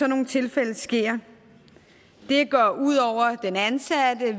nogle tilfælde sker det går ud over den ansatte